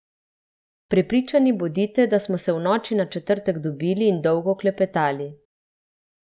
Prepričani bodite, da smo se v noči na četrtek dobili in dolgo klepetali.